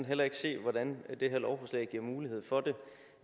heller ikke se hvordan det her lovforslag giver mulighed for